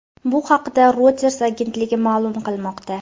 Bu haqda Reuters agentligi ma’lum qilmoqda.